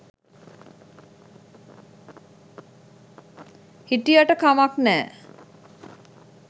හිටියට කමක් නෑ.